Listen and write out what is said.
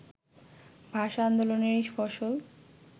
ভাষা আন্দোলনেরই ফসল